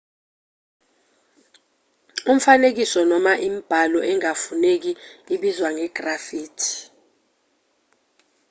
imifanekiso noma imibhalo engafuneki ibizwa nge-graffiti